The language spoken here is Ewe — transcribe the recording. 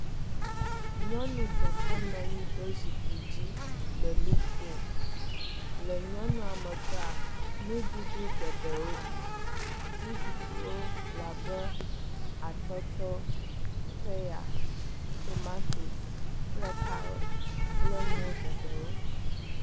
Nyɔnu ɖeka nɔ anyi ɖe zikpui dzi le nu kom. Le nyɔnua megbea nuɖuɖu geɖewo li. Nuɖuɖuwo le abe; atɔtɔ, peya, tomatosi kple karɔt kple enuwo geɖewo.